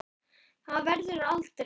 Það verður aldrei.